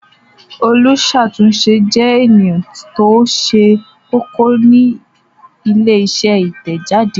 Olùṣàtúnṣe jẹ́ ènìyàn tó ṣe kókó ní ilé-iṣẹ́ Ìtẹ̀jáde.